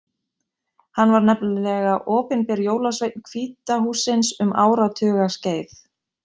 Hann var nefnilega opinber jólasveinn Hvíta hússins um áratuga skeið.